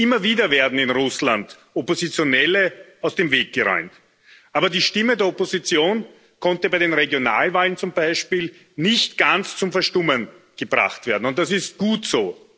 Immer wieder werden in Russland Oppositionelle aus dem Weg geräumt, aber die Stimme der Opposition konnte bei den Regionalwahlen zum Beispiel nicht ganz zum Verstummen gebracht werden und das ist gut so.